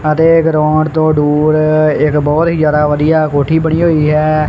ਅਤੇ ਗਰਾਊਂਡ ਤੋਂ ਦੂਰ ਇਕ ਬਹੁਤ ਹੀ ਜਿਆਦਾ ਵਧੀਆ ਕੋਠੀ ਬਣੀ ਹੋਈ ਹੈ।